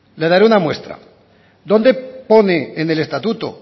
le daré una muestra dónde pone en el estatuto